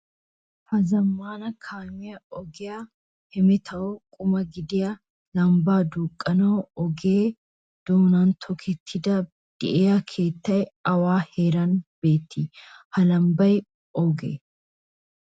Ha zamaana Kaamiya ogiya hemetawu quma gidiya lamba duuqanawu ogiya doonan tokkettidi deiya keettay awa heeran beeti? Ha lambay ooge?